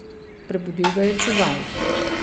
Prebudil ga je čuvaj.